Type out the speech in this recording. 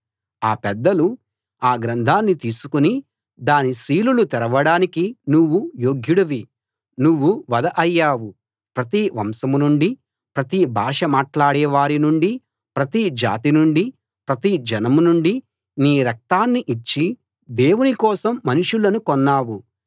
ఆ పెద్దలు ఆ గ్రంథాన్ని తీసుకుని దాని సీలులు తెరవడానికి నువ్వు యోగ్యుడివి నువ్వు వధ అయ్యావు ప్రతి వంశం నుండీ ప్రతి భాష మాట్లాడే వారి నుండీ ప్రతి జాతి నుండీ ప్రతి జనం నుండీ నీ రక్తాన్ని ఇచ్చి దేవుని కోసం మనుషులను కొన్నావు